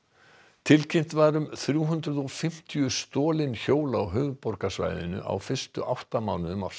tilkynnt var um þrjú hundruð og fimmtíu stolin hjól á höfuðborgarsvæðinu á fyrstu átta mánuðum ársins